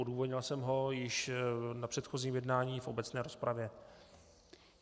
Odůvodnil jsem ho již na předchozím jednání v obecné rozpravě.